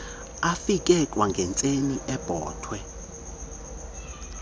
afike kwangentseni ebhotwe